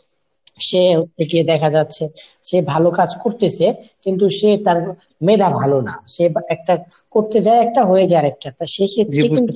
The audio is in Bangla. সে হচ্ছে গিয়ে দেখা যাচ্ছে সে ভালো কাজ করতাসে কিন্তু সে তার মেধা ভালো না। সে একটা করতে যায় একটা হয়ে যায় আরেকটা তার সেক্ষেত্রে